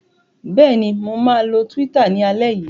Bẹ́ẹ̀ ni, mo máa lo Twitter ní alẹ́ yìí.